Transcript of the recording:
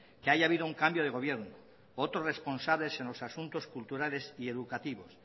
que haya habido un cambio de gobierno otros responsables en los asuntos culturales y educativos